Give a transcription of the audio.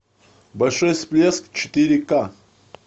большой всплеск четыре ка